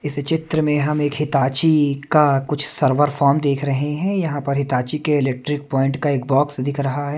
इस चित्र में हम एक हिताची का कुछ सरवर फॉर्म देख रहे हाँ यहाँ पर हिताची के इलेक्ट्रिक पॉइंट का एक बॉक्स दिख रहा हैं।